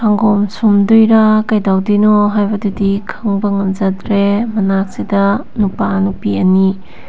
ꯁꯪꯒꯣꯝ ꯁꯨꯝꯗꯣꯏꯔꯥ ꯀꯩꯗꯧꯗꯣꯏꯅꯣ ꯍꯥꯏꯕꯗꯨꯗꯤ ꯈꯡꯕ ꯉꯝꯖꯗ꯭ꯔꯦ ꯃꯅꯥꯛꯁꯤꯗ ꯅꯨꯄꯥ ꯅꯨꯄꯤ ꯑꯅꯤ --